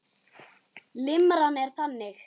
Limran er þannig